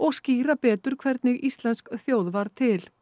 skýra betur hvernig íslensk þjóð varð til